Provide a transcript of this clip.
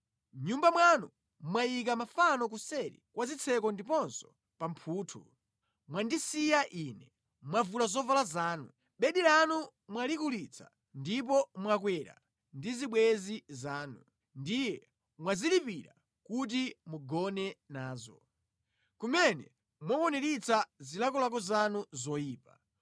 Mʼnyumba mwanu mwayika mafano kuseri kwa zitseko ndiponso pa mphuthu. Mwandisiya Ine, mwavula zovala zanu. Bedi lanu mwalikulitsa ndipo mwakwera ndi zibwenzi zanu, ndiye mwazilipira kuti mugone nazo. Kumene mwakwaniritsa zilakolako zanu zoyipa.